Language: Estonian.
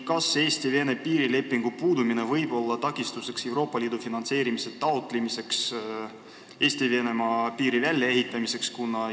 Kas Eesti-Vene piirilepingu puudumine võib olla takistuseks, kui me soovime taotleda ka Euroopa Liidu finantse Eesti-Venemaa piiri välja ehitamiseks?